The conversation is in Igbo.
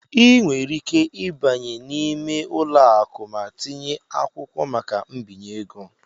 Ị nwere ike ịbanye n'ime ụlọ akụ ma tinye akwụkwọ maka mbinye ego.